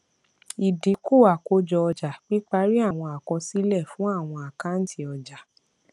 ìdínkù àkójọ ọjà píparí àwọn àkọsílẹ fún àwọn àkáǹtì ọjà